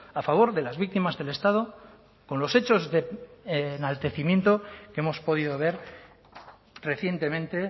a favor de las víctimas del estado con los hechos de enaltecimiento que hemos podido ver recientemente